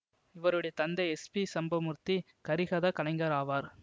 இவருடைய தந்தை S P Sambamoorthy கரிஹத கலைஞர் ஆவார்